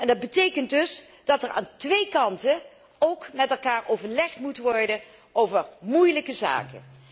Dat betekent dus dat er van beide kanten ook met elkaar overlegd moet worden over moeilijke zaken.